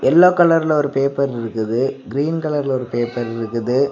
Yellow கலர்ல ஒரு paper இருக்குது கிரீன் கலர்ல ஒரு பேப்பர் இருக்குது.